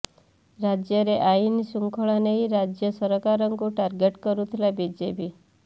ରାଜ୍ୟରେ ଆଇନ ଶୃଙ୍ଖଳା ନେଇ ରାଜ୍ୟ ସରାକାରଙ୍କୁ ଟାର୍ଗେଟ୍ କରୁଥିଲା ବିଜେପି